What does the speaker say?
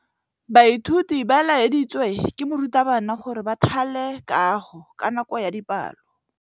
Baithuti ba laeditswe ke morutabana gore ba thale kagô ka nako ya dipalô.